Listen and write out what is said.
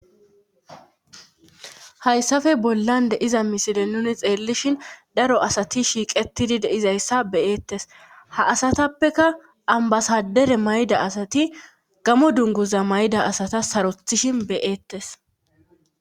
hayssafe bollan de'iza misile nuni xeellishin daro asati shiiqetidi deizayssa beyeettes ha asatappeka ambasadere mayda asati gamo dunguza mayda asata sarothishin beyeettes